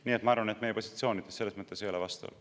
Nii et ma arvan, et meie positsioonides selles mõttes ei ole vastuolu.